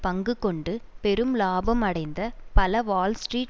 பங்கு கொண்டு பெரும் இலாபம் அடைந்த பல வால்ஸ்ட்ரீட்